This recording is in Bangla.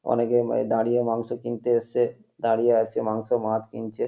অনেকে এ দাড়িয়ে মাংস কিনতে এসেছে দাড়িয়ে আছে মাংস মাছ কিনছে।